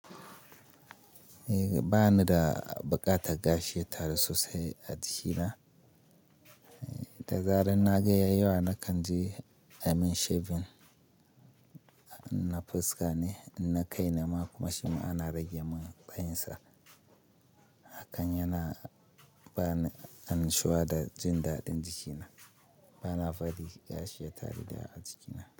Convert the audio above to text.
Eh bani da buƙatar gashi ya taru sosai a jikina. Da zarar na ga ya yawa na kan je amin shaving na fuska ne, na kai nema kuma shima ana rage mun tsayinsa. Hakan yana bani annushuwa da jin daɗin jikina. Bana fadi gashi ya taru da a jikina.